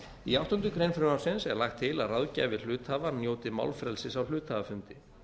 í áttundu greinar frumvarpsins er lagt til að ráðgjafi hluthafa njóti málfrelsis á hluthafafundi